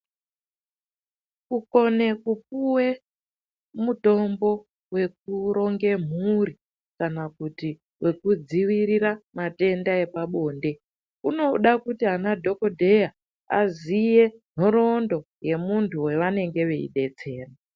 Kukona kupuwe mitombo yekuronga mhuri kana kuti wekudzivirira matenda epabonde inoda kuti anadhokodheya aziye nhoroondo yemuntu wavanenge veidetsera